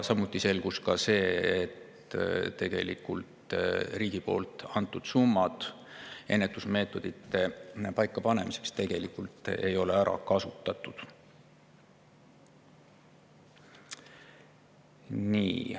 Samuti selgus, et riigi antud summasid ennetusmeetmete paikapanemiseks ei ole tegelikult ära kasutatud.